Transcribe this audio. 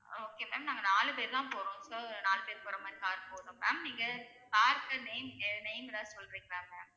okay ma'am நாங்க நாலு பேரு தான் போறோம். இப்போ நாலு பேரு போற மாரி car போதும் ma'am நீங்க car க்கு name ஏ~ name ஏதாவது சொல்றீங்களா ma'am